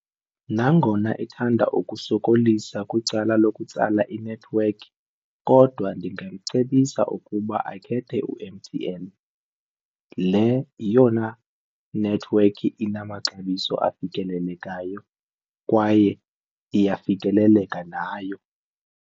Nangona ethanda ukusokolisa kwicala lokutsala inethiwekhi kodwa ndingamcebisa ukuba akhethe u-M_T_N. Le yiyona nethiwekhi inamaxabiso afikelelekayo kwaye iyafikeleleka nayo.